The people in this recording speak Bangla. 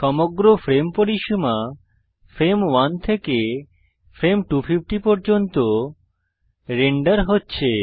সমগ্র ফ্রেম পরিসীমা ফ্রেম 1 থেকে ফ্রেম 250 পর্যন্ত রেন্ডার হচ্ছে